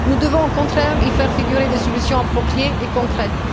Nous devons, au contraire, y faire figurer des solutions appropriées et concrètes.